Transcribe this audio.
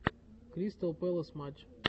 кристал пэлас матч